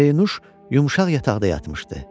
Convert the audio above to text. Pərinuş yumşaq yataqda yatmışdı.